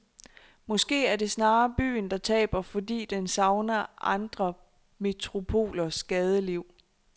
Måske er det snarere byen, der taber, fordi den savner andre metropolers gadeliv.